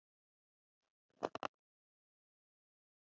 Horfir á eftir húsbónda sínum sem kemur til hennar með breitt bros á vörunum.